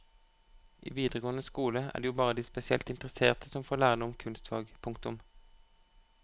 I videregående skole er det jo bare de spesielt interesserte som får lære noe om kunstfag. punktum